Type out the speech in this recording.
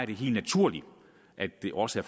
det helt naturligt at det også